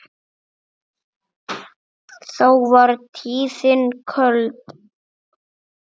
þá var tíðin köld